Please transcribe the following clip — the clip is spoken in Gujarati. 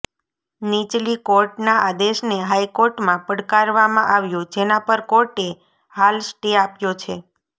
નીચલી કોર્ટના આદેશને હાઈકોર્ટમાં પડકારવામાં આવ્યો જેના પર કોર્ટે હાલ સ્ટે આપ્યો છે